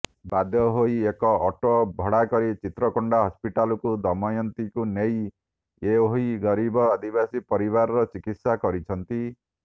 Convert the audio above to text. ବାଧ୍ୟହୋଇ ଏକ ଅଟୋ ଭଡାକରି ଚିତ୍ରକୋଣ୍ଡା ହସପିଟାଲକୁ ଦୟମତୀଙ୍କୁ ନେଇ ଏଓହି ଗରିବ ଆଦିବାସୀ ପରିବାର ଚିକିତ୍ସା କରିଛନ୍ତି